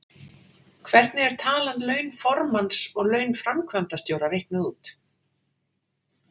Hvernig er talan laun formanns og laun framkvæmdastjóra reiknuð út?